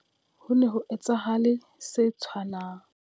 Ho ne ho etsahale se tshwanang.